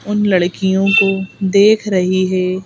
उन लड़कियों को देख रही है।